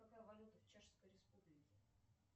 какая валюта в чешской республике